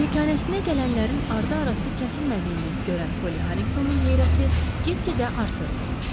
Malikanəsinə gələnlərin ardı-arası kəsilmədiyini görən Poly Harinqtonun heyrəti get-gedə artırdı.